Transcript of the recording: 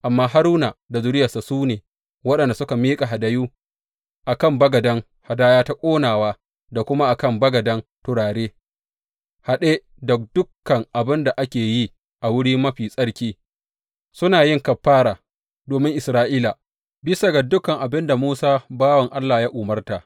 Amma Haruna da zuriyarsa su ne waɗanda suke miƙa hadayu a kan bagaden hadaya ta ƙonawa da kuma a kan bagaden turare haɗe da dukan abin da ake yi a Wuri Mafi Tsarki, suna yin kafara domin Isra’ila, bisa ga dukan abin da Musa bawan Allah ya umarta.